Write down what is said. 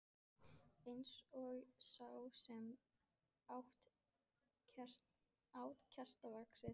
Eins og sá sem át kertavaxið.